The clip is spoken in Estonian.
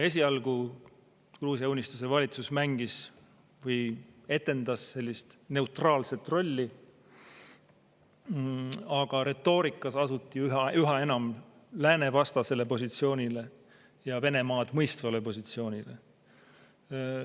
Esialgu Gruusia Unistuse valitsus mängis või etendas sellist neutraalset rolli, aga retoorikas asuti üha enam läänevastasele positsioonile ja Venemaad mõistvale positsioonile.